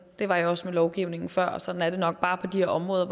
det var jeg også med lovgivningen før sådan er det nok bare på de her områder